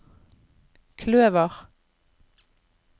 kløver